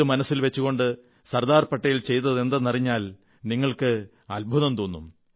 ഇത് മനസ്സിൽ വച്ചുകൊണ്ട് സർദാർ പട്ടേൽ ചെയ്തതെന്തെന്നറിഞ്ഞാൽ നിങ്ങൾക്ക് ആശ്ചര്യം തോന്നും